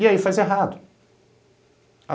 E aí faz errado.